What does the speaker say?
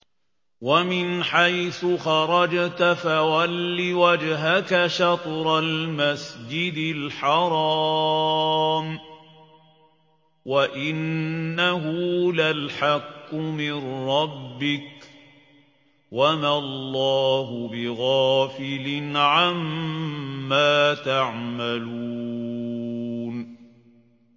وَمِنْ حَيْثُ خَرَجْتَ فَوَلِّ وَجْهَكَ شَطْرَ الْمَسْجِدِ الْحَرَامِ ۖ وَإِنَّهُ لَلْحَقُّ مِن رَّبِّكَ ۗ وَمَا اللَّهُ بِغَافِلٍ عَمَّا تَعْمَلُونَ